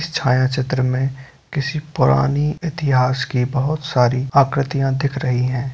इस छायाचित्र में किसी पुरानी इतिहास की बहुत सारी आकृतियां दिख रही है।